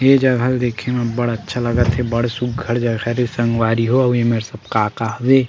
ये जगह ल देखे म अब्बड़ अच्छा लगत हे बढ़ सुग्घर जगह हरे संगवारी हो आऊ ये मेर सब का-का हवे।